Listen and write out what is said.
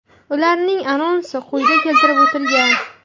Ularning anonsi quyida keltirib o‘tilgan.